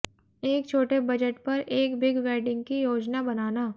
एक छोटे बजट पर एक बिग वेडिंग की योजना बनाना